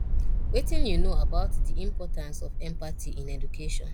wetin you know about di importance of empathy in education